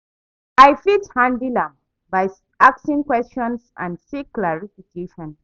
I fit handle am by asking questions and seek clarification.